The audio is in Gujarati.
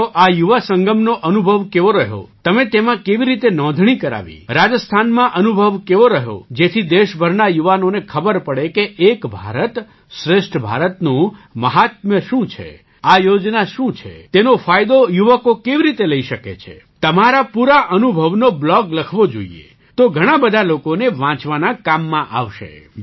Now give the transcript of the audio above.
તમારો આ યુવા સંગમનો અનુભવ કેવો રહ્યો તમે તેમાં કેવી રીતે નોંધણી કરાવી રાજસ્થાનમાં અનુભવ કેવો રહ્યો જેથી દેશભરના યુવાનોને ખબર પડે કે એક ભારત શ્રેષ્ઠ ભારતનું મહાત્મ્ય શું છે આ યોજના શું છે તેનો ફાયદો યુવકો કેવી રીતે લઈ શકે છે તમારો પૂરો અનુભવનો બ્લૉગ લખવો જોઈએ તો ઘણા બધા લોકોને વાંચવાના કામમાં આવશે